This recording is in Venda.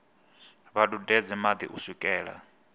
vha dudedze madi u swikela